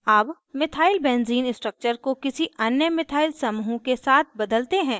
अब methylbenzene methylbenzene structure को किसी अन्य methyl समूह के साथ बदलते हैं